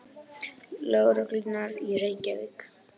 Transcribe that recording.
Lögreglunnar í Reykjavík.